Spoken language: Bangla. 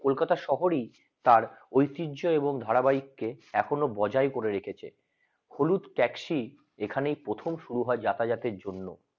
কলকাতা শহর তার ঐতিহ্য এবং ধারাবাহিককে এখনো বাজার করে রেখেছেন হলুদ taxi এখানে প্রথম শুরু হয় যাতায়াতের জন্য